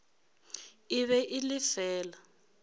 e be e le fela